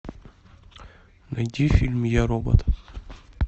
найди фильм я робот